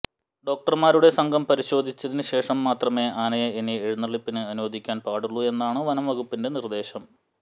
ഡോക്ടർമാരുടെ സംഘം പരിശോധിച്ചതിന് ശേഷം മാത്രമേ ആനയെ ഇനി എഴുന്നള്ളിപ്പിന് അനുവദിക്കാൻ പാടുള്ളൂ എന്നാണ് വനം വകുപ്പിൻറെ നിർദേശം